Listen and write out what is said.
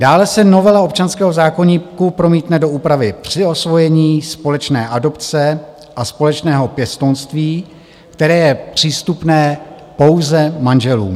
Dále se novela občanského zákoníku promítne do úpravy při osvojení, společné adopce a společného pěstounství, které je přístupné pouze manželům.